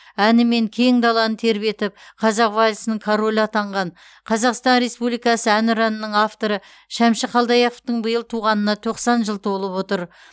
әнімен кең даланы тербетіп қазақ вальсінің королі атанған қазақстан республикасы әнұранының авторы шәмші қалдаяқовтың биыл туғанына тоқсан жыл толып отыр